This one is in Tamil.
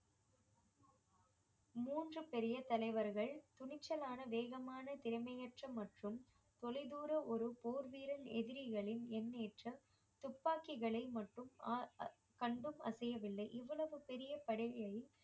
மூன்று பெரிய தலைவர்கள் துணிச்சலான வேகமான திறமையற்ற மற்றும் தொலைதூர ஒரு போர் வீரர் எதிரிகளின் எண்ணேற்றம் துப்பாக்கிகளை அ~ அ~ கண்டும் அசையவில்லை இவ்வளவு பெரிய